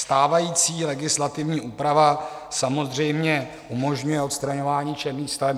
Stávající legislativní úprava samozřejmě umožňuje odstraňování černých staveb.